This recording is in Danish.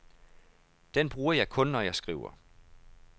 Den bruger jeg kun, når jeg skriver.